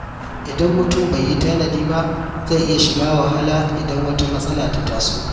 Idan mutum bai yi tanadi ba, zai iya shiga wahala idan wata matsala ta taso.